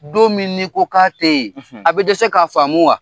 Don min ni ko k'a te yen , a bɛ dɛsɛ ka faamu wa?